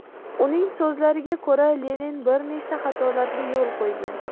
Uning so‘zlariga ko‘ra, Lenin bir nechta xatolarga yo‘l qo‘ygan.